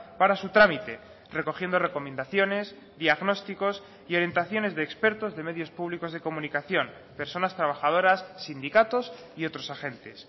para su trámite recogiendo recomendaciones diagnósticos y orientaciones de expertos de medios públicos de comunicación personas trabajadoras sindicatos y otros agentes